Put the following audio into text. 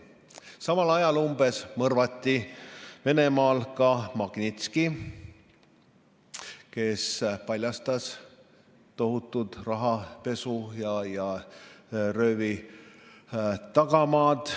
Umbes samal ajal mõrvati Venemaal ka Magnitski, kes paljastas tohutud rahapesu ja röövi tagamaad.